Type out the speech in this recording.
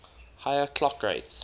higher clock rates